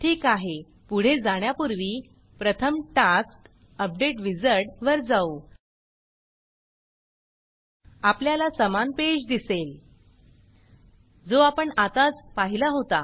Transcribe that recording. ठीक आहे पुढे जाण्यापुर्वी प्रथम taskटास्क अपडेट wizardअपडेट विज़र्ड वर जाऊ आपल्याला समान पेज दिसेल जो आपण आत्ताच पहिला होता